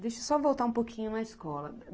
Deixa eu só voltar um pouquinho na escola.